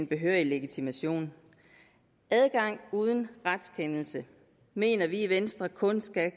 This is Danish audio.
behørig legitimation adgang uden retskendelse mener vi i venstre kun skal